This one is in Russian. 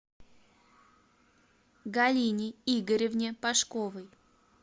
галине игоревне пашковой